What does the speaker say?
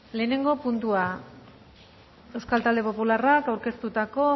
lehenengo puntua euskal talde popularrak aurkeztutako